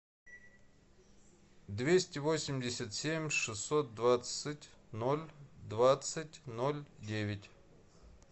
двести восемьдесят семь шестьсот двадцать ноль двадцать ноль девять